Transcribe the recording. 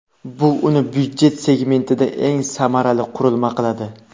Bu uni byudjet segmentida eng samarali qurilma qiladi.